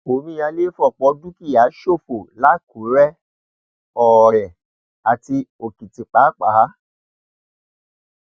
omíyalé fọpọ dúkìá ṣòfò làkúrẹ ọrẹ àti òkìtìpápá